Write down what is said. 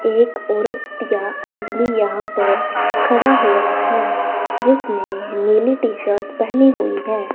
एक औरत या आदमी यहां पर खड़ा हुआ है जिसने नीली टी शर्ट पहनी हुई है।